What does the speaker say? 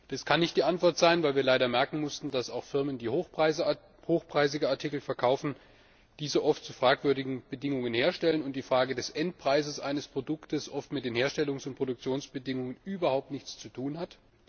Das kann nicht die Antwort sein, weil wir leider merken mussten, dass auch Firmen, die hochpreisige Artikel verkaufen, diese oft zu fragwürdigen Bedingungen herstellen und die Frage des Endpreises eines Produkts oft mit den Herstellungs und Produktionsbedingungen überhaupt nichts zu tun hat.